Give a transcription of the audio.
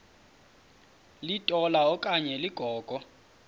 litola okanye ligogo